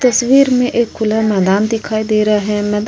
तस्वीर में एक खुला मैदान दिखाई दे रहा है। मैदान --